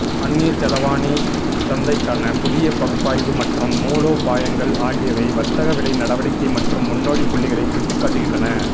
அந்நியச் செலாவணி சந்தைக்கான புதிய பகுப்பாய்வு மற்றும் மூலோபாயங்கள் ஆகியவை வர்த்தக விலை நடவடிக்கை மற்றும் முன்னோடி புள்ளிகளை சுட்டிக்காட்டுகின்றன